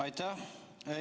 Aitäh!